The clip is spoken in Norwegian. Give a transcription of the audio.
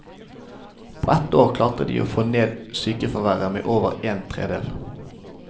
På ett år klarte de å få ned sykefraværet med over en tredjedel.